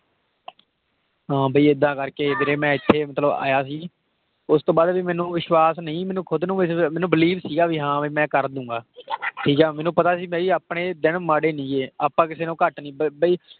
ਹਾਂ ਵੀ ਏਦਾਂ ਕਰਕੇ ਵੀਰੇ ਮੈਂ ਇੱਥੇ ਮਤਲਬ ਆਇਆ ਸੀ ਉਸ ਤੋਂ ਬਾਅਦ ਵੀ ਮੈਨੂੰ ਵਿਸ਼ਵਾਸ ਨਹੀਂ ਮੈਨੂੰ ਖ਼ੁਦ ਨੂੰ ਮੈਨੂੰ believe ਸੀਗਾ ਵੀ ਹਾਂ ਵੀ ਮੈਂ ਕਰ ਦਊਂਗਾ ਠੀਕ ਹੈ ਮੈਨੂੰ ਪਤਾ ਸੀ ਬਾਈ ਆਪਣੇ ਦਿਨ ਮਾੜੇ ਨੀ ਗੇ ਆਪਾਂ ਕਿਸੇ ਨਾਲੋਂ ਘੱਟ ਨੀ ਵੀ ਬਾਈ